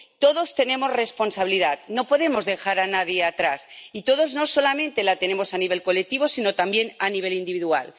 Todos tenemos responsabilidad —no podemos dejar a nadie atrás— y todos la tenemos, no solamente la tenemos a nivel colectivo, sino también a nivel individual.